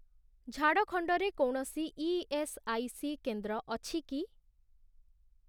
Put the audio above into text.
ଝାଡ଼ଖଣ୍ଡରେ କୌଣସି ଇଏସ୍ଆଇସି କେନ୍ଦ୍ର ଅଛି କି?